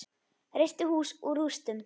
Reisti hús úr rústum.